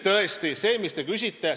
Nüüd sellest, mida te küsite.